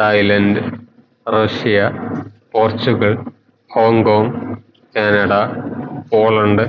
Thailand Russia Portugal Hong Kong Canada Poland